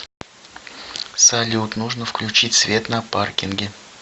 салют нужно включить свет на паркинге